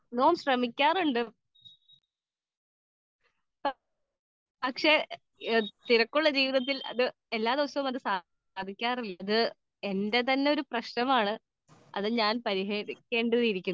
speaker 2 ഞാൻ ശ്രമിക്കാറുണ്ട് പക്ഷെ തിരക്കുള്ള ജീവിതത്തിൽ എല്ലാ ദിവസവും സാധിക്കാറില്ല എന്റെ തന്നെ പ്രശ്നമാണ് അത് ഞാൻ പരിഹരിക്കേണ്ടിയിരിക്കുന്നു